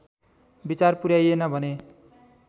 विचार पुर्‍याइएन भने